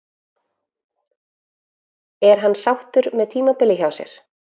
Er hann sáttur með tímabilið hjá sér?